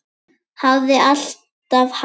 Hafði alltaf haldið.